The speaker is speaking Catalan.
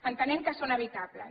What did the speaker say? entenem que són evitables